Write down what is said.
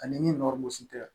Ani ni tɛ